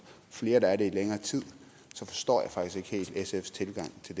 flere der er det i længere tid så forstår jeg faktisk ikke helt sfs tilgang til